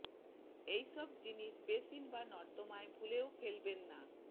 এই সব জিনিস বেসিন বা নর্দমায় ভুলেও ফেলবেন না